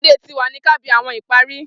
Friday ti wa ni kà bi awọn ìparí